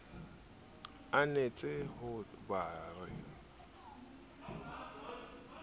anetse ho ba re hedi